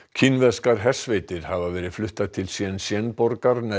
kínverskar hersveitir hafa verið fluttar til Shenzen borgar